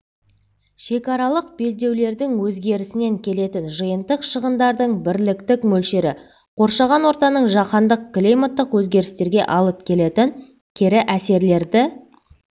шекаралық белдеулердің өзгерісінен келетін жиынтық шығындардың бірліктік мөлшері қоршаған ортаның жаһандық климаттық өзгерістерге алып келетін кері әсерлерді